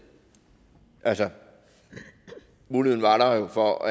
altså muligheden var der jo for